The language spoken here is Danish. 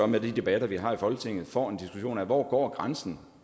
med de debatter vi har i folketinget får en diskussion af hvor grænsen